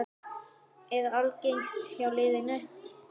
Er agaleysi hjá liðinu?